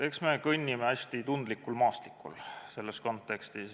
Eks me kõnni selles kontekstis hästi tundlikul maastikul.